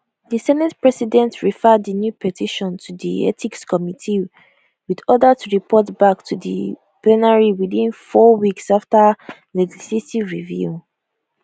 di senate president refer di new petition to di ethics committee wit order to report back to di plenary within four weeks afta legislative review